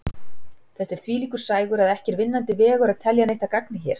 Þetta er þvílíkur sægur að ekki er vinnandi vegur að telja neitt að gagni hér.